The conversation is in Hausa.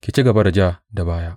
Ki ci gaba da ja da baya.